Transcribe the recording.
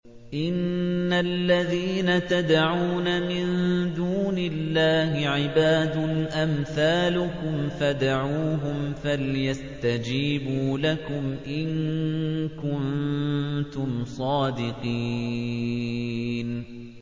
إِنَّ الَّذِينَ تَدْعُونَ مِن دُونِ اللَّهِ عِبَادٌ أَمْثَالُكُمْ ۖ فَادْعُوهُمْ فَلْيَسْتَجِيبُوا لَكُمْ إِن كُنتُمْ صَادِقِينَ